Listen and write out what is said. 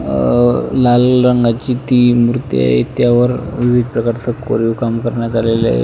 अह लाल रंगाची ती मूर्ती आहे त्या वर विविध प्रकारच कोरीव काम करण्यात आलेल आहे.